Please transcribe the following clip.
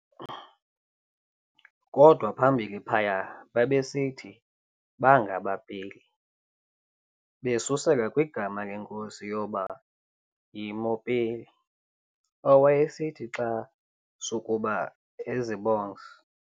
Kodwa phambili phaya babesithi bangabaPeli, besusela kwigama lenkosi yabo yMopeli, owayesithi xa sukuba ezibongs.